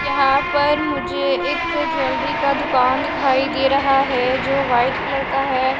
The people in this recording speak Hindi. यहां पर मुझे एक ज्वेलरी का दुकान दिखाई दे रहा है जो वाइट कलर का है।